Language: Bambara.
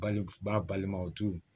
Baliku balimaw tu